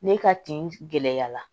Ne ka tin gɛlɛya la